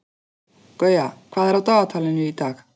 Gauja, hvað er á dagatalinu í dag?